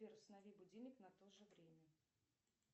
сбер установи будильник на тоже время